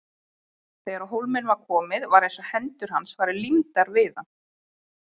Þegar á hólminn var komið var eins og hendur hans væru límdar við hann.